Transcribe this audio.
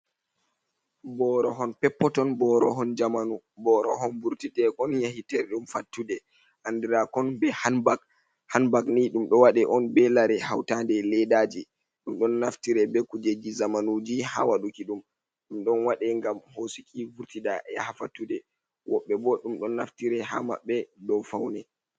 Borohon peppeton borohon njamanu borohon burtitekon yahiter ɗum fattude. Andirakon be hanbak ni ɗum ɗo waɗa on ɓe lare hauta nde leddaji ɗum ɗon naftire be kujeji zamanuji ha waɗuki ɗum, ɗum don wada ngam hosuki vurtida yaha fattude woɓɓe bo ɗum ɗon naftire ha maɓɓe dow faune.